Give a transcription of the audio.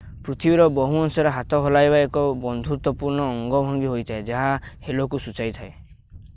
ପୃଥିବୀର ବହୁ ଅଂଶରେ ହାତ ହଲାଇବା ଏକ ବନ୍ଧୁତ୍ୱପୂର୍ଣ୍ଣ ଅଙ୍ଗଭଙ୍ଗୀ ହୋଇଥାଏ ଯାହା ହେଲୋ"କୁ ସୂଚାଇଥାଏ।